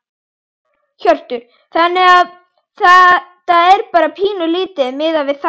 Hjörtur: Þannig að þetta bara pínulítið miðað við það?